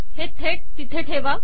हे थेट तिथे ठेवा